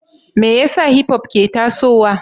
Me yasa Hipop ke tasowa?